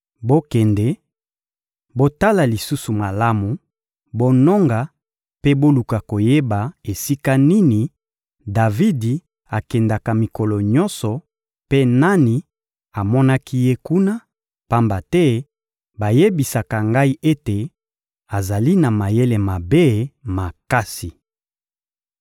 Bokende, botala lisusu malamu, bononga mpe boluka koyeba esika nini Davidi akendaka mikolo nyonso mpe nani amonaki ye kuna; pamba te bayebisaka ngai ete azali na mayele mabe makasi.